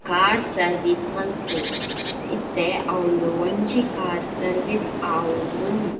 Car service ಮಲ್ಪುವೆರ್ ಇತ್ತೆ ಅವ್ಲು ಒಂಜಿ ಕಾರ್ ಸರ್ವೀಸ್ ಆವೊಂದು ಉಂಡು.